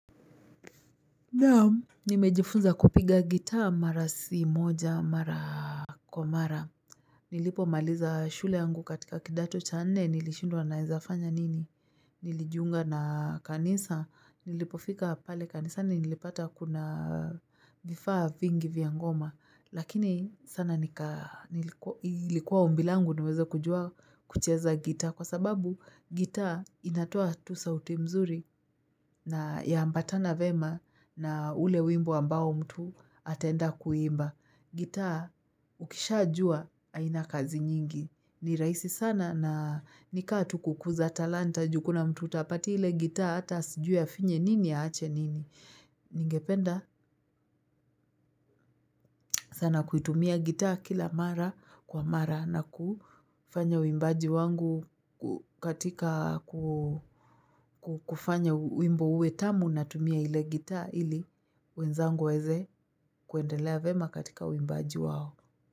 Naam nimejifunza kupiga gitaa mara si moja mara kwa mara nilipomaliza shule yangu katika kidato cha nne nilishindwa naezafanya nini nilijunga na kanisa nilipofika pale kanisani nilipata kuna vifaa vingi vya ngoma lakini sana ilikuwa ombi langu niweze kujua kucheza gitaa kwa sababu gitaa inatoa tu sauti mzuri na yaambatana vema na ule wimbo ambao mtu ataenda kuimba. Gitaa ukishajua haina kazi nyingi. Ni rahisi sana na nikaa tu kukuza talanta ju kuna mtu utapatia ile gitaa hata asijua afinye nini aache nini. Ningependa sana kuitumia gitaa kila mara kwa mara na kufanya wimbaji wangu katika kufanya wimbo uwe tamu natumia ile gitaa ili wenzangu waeze kuendelea vema katika uimbaji wao.